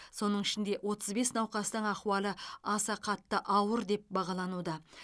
соның ішінде отыз бес науқастың ахуалы аса қатты ауыр деп бағалануда